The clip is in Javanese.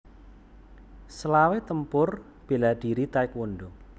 Selawe Tempur bela diri taekwondo